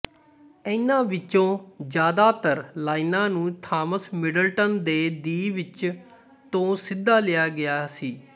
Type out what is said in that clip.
ਇਨ੍ਹਾਂ ਵਿੱਚੋਂ ਜ਼ਿਆਦਾਤਰ ਲਾਈਨਾਂ ਨੂੰ ਥਾਮਸ ਮਿਡਲਟਨ ਦੇ ਦਿ ਵਿਚ ਤੋਂ ਸਿੱਧਾ ਲਿਆ ਗਿਆ ਸੀ